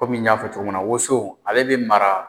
Komi n y'a fɔ cogo mun na woso ale bɛ mara.